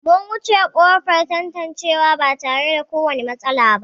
Mun wuce ƙofar tantancewa ba tare da kowane matsala ba.